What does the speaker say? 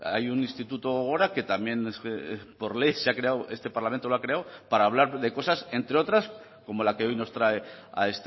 hay un instituto gogora que también por ley se ha creado este parlamento lo ha creo para hablar de cosas entre otras como la que hoy nos trae a